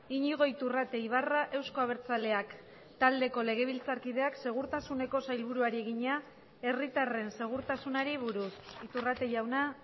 iñigo iturrate ibarra euzko abertzaleak taldeko legebiltzarkideak segurtasuneko sailburuari egina herritarren segurtasunari buruz iturrate jauna